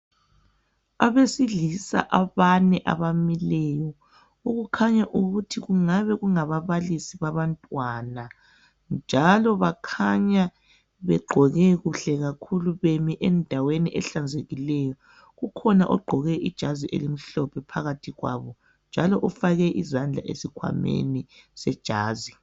Abesilisa abane abamileyo okukhanya ukuthinkungabe kungababalisi babantwana njalo bakhanya begqoke kuhle kakhulu bemi endaweni ehlanzekileyo kukhona ogqoke ijazi elimhlophe phakathi kwabo njalo ufake izandla esikhwameni sejazi.